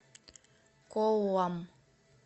коллам